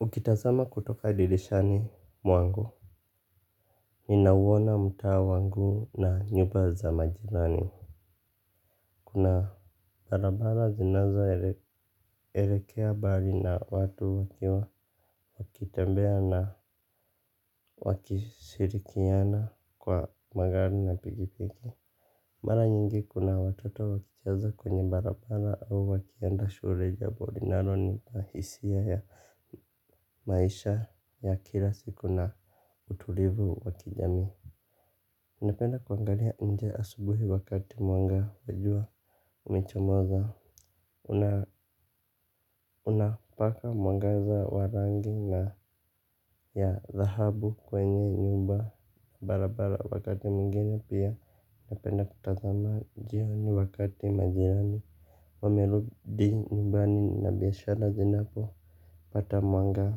Ukitazama kutoka dirishani mwangu ninauona mtaa wangu na nyumba za majirani. Kuna barabara zinazoelekea bali na watu wakitembea na wakishirikiana kwa magari na pikipiki. Mara nyingi kuna watoto wakicheza kwenye barabara au wakienda shule jambo linalonipa hisia ya maisha ya kila siku na utulivu wa kijamii. Napenda kuangalia nje asubuhi wakati mwanga wa jua umechomoza. Unapaka mwangaza wa rangi na ya thahabu kwenye nyumba. Barabara wakati mwingine pia napenda kutazama njiani wakati majirani. Wamerudi nyumbani na biashara zinapopata mwanga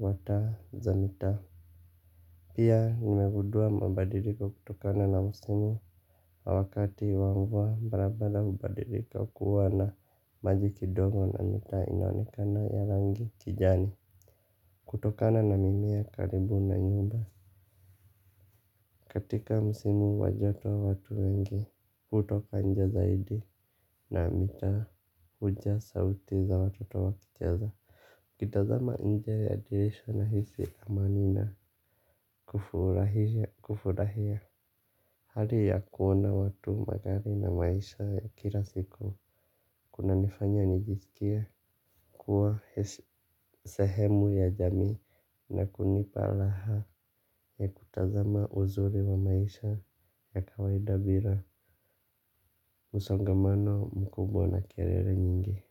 wa taza mitaa. Pia nimegundua mabadiliko kutokana na msimu na wakati wa mvua barabala hubadilika kuwa na maji kidogo na mitaa inaonekana ya rangi kijani. Kutokana na mimea karibu na nyumba katika msimu wa joto watu wengi hutoka nje zaidi na mitaa hujaa sauti za watoto wakicheza nikitazama nje ya dirisha nahisi amani na kufurahia. Hali ya kuona watu magari na maisha ya kila siku. Kunanifanya nijiskie kuwa sehemu ya jamii na kunipa raha ya kutazama uzuri wa maisha ya kawaida bila msongomano mkubwa na kelele nyingi.